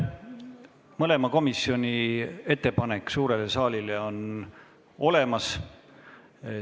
Mõlema komisjoni ettepanek suurele saalile on olemas.